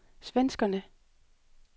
svenskerne